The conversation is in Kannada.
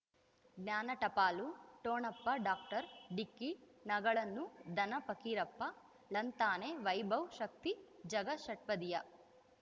ಜ್ಞಾನ ಟಪಾಲು ಠೊಣಪ ಡಾಕ್ಟರ್ ಢಿಕ್ಕಿ ಣಗಳನು ಧನ ಫಕೀರಪ್ಪ ಳಂತಾನೆ ವೈಭವ್ ಶಕ್ತಿ ಝಗಾ ಷಟ್ಪದಿಯ